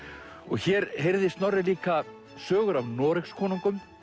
hér heyrði Snorri líka sögur af Noregskonungum